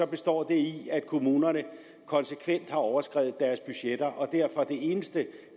består det i at kommunerne konsekvent har overskredet deres budgetter og derfor er det eneste